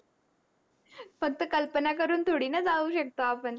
फक्त कल्पना करून थोडी न जाऊ शकतो आपण